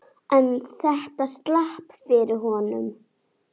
En þetta slapp fyrir horn.